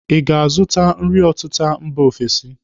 Ị ga-azụta nri ọtịta mba ofesi echi?